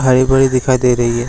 High बड़ी दिखाई दे रही है।